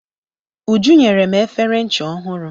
Uju nyere m efere ncha ọhụrụ.